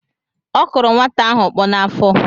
Ọ kụrụ nwata ahụ ọkpọ n’afọ